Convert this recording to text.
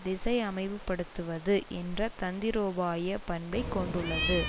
திசையமைவுபடுத்துவது என்ற தந்திரோபாய பண்பைக் கொண்டுள்ளது